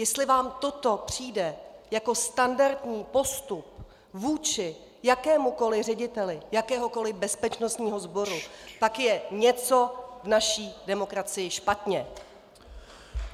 Jestli vám toto přijde jako standardní postup vůči jakémukoliv řediteli jakéhokoliv bezpečnostního sboru, pak je něco v naší demokracii špatně!